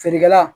Feerekɛla